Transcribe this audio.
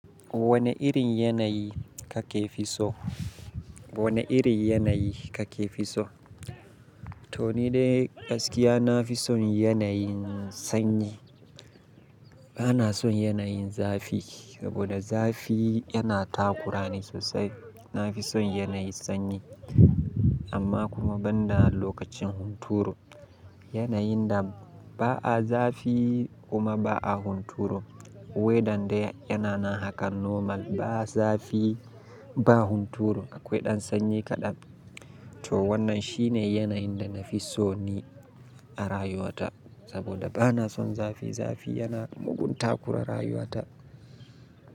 Wane irin yanayi kake fi so? Wane irin yanayi kake fi so? To ni dai gaskiya na fi son yanayin sanyi. Bana son yanayin zafi, saboda zafi yana takurani sosai. Na fi son yanayi sanyi amma kuma ban da lokacin hunturu. Yanayin da ba a zafi kuma ba a hunturu. Weather dai yana nan haka normal ba zafi ba hunturu akwai ɗan sanyi kaɗan. To wannan shine yanayin da na fi so ni a rayuwata saboda bana son zafi. Zafi yana mugun takura rayuwata.